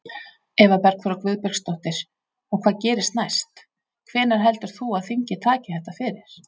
Eva Bergþóra Guðbergsdóttir: Og hvað gerist næst, hvenær heldur þú að þingið taki þetta fyrir?